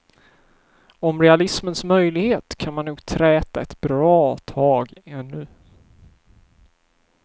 Om realismens möjlighet kan man nog träta ett bra tag ännu.